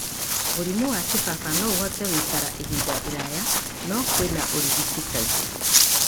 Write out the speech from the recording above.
Mũrimũ wa kĩbaba no ũhote gũikara ihinda iraya, no kwĩna ũrigiti kaingĩ,